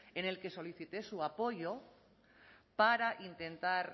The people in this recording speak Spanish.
en el que solicité su apoyo para intentar